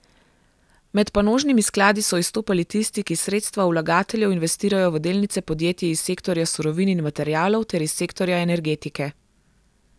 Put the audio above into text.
Med panožnimi skladi so izstopali tisti, ki sredstva vlagateljev investirajo v delnice podjetij iz sektorja surovin in materialov ter iz sektorja energetike.